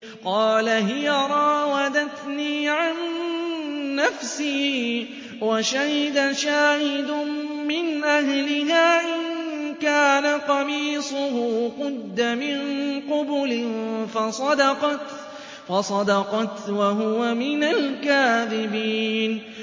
قَالَ هِيَ رَاوَدَتْنِي عَن نَّفْسِي ۚ وَشَهِدَ شَاهِدٌ مِّنْ أَهْلِهَا إِن كَانَ قَمِيصُهُ قُدَّ مِن قُبُلٍ فَصَدَقَتْ وَهُوَ مِنَ الْكَاذِبِينَ